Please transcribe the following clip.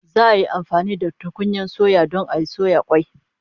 Za'a yi amfani da tukunyan suya don soya kwai